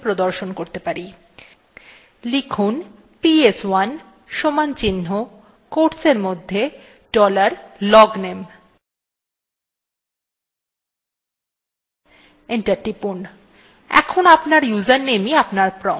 লিখুন ps1 সমানচিন্হ quotesএরমধ্যে dollar logname enter টিপুন